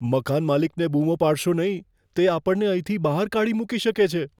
મકાનમાલિકને બૂમો પાડશો નહીં. તે આપણને અહીંથી બહાર કાઢી મૂકી શકે છે.